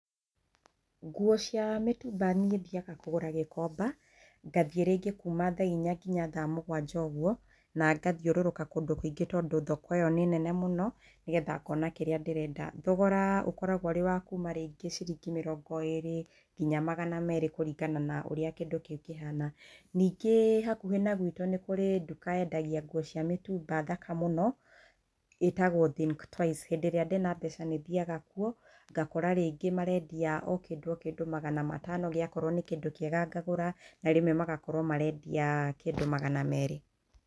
Nguo cia mĩtumba niĩ thiaga kũgũra gĩkomba. Ngathiĩ rĩngĩ kuma thaa inya nginya thaa mũgwanja ũguo, na ngathiũrũrũka kũndũ kũingĩ tondũ thoko ĩyo nĩ nene mũno, nĩgetha ngona kĩrĩa ndĩrenda. Thogora ũkoragwo ũrĩ wa kuma rĩngĩ ciringi mĩrongo ĩrĩ nginya magana merĩ kũringana na ũrĩa kĩndũ kĩu kĩhana. Ningĩ hakuhĩ na gwitũ nĩ kũrĩ nduka yendagia nguo cia mĩtumba thaka mũno, ĩtagwo Think Twice. Hĩndĩ ĩrĩa ndĩna mbeca nĩ thiaga kuo, ngakora rĩngĩ marendia o kĩndũ o kĩndũ magana matano gĩakorwo nĩ kĩndũ kĩega ngagũra, na rĩmwe magakorwo marendia kĩndũ magana merĩ.